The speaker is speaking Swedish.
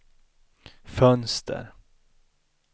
fönster